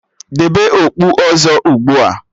Debe okpu ọzọ ugbua!